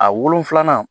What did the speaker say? A wolonfilanan